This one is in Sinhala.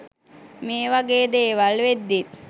මේවගේ දේවල් වෙද්දීත්